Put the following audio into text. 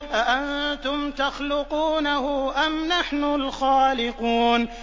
أَأَنتُمْ تَخْلُقُونَهُ أَمْ نَحْنُ الْخَالِقُونَ